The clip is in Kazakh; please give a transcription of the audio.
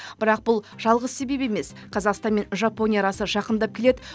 бірақ бұл жалғыз себеп емес қазақстан мен жапония арасы жақындап келеді